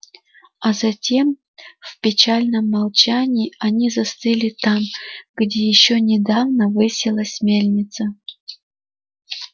а затем в печальном молчании они застыли там где ещё недавно высилась мельница